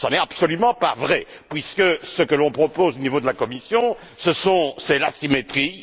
Ce n'est absolument pas vrai, puisque ce que l'on propose au niveau de la Commission, c'est l'asymétrie.